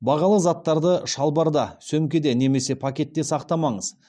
бағалы заттарды шалбарда сөмкеде немесе пакетте сақтамаңыз